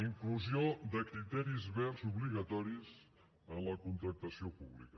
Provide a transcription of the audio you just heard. inclusió de criteris verds obligatoris en la contractació pública